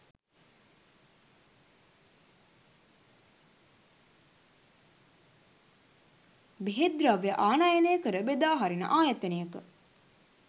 බෙහෙත් ද්‍රව්‍ය ආනයනය කර බෙදාහරින ආයතනයක